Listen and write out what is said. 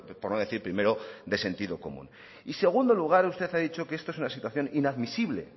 por no decir primero de sentido común y en segundo lugar usted ha dicho que esto es una situación inadmisible